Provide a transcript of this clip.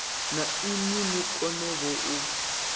na inwi ni konevho u